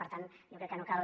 per tant jo crec que no cal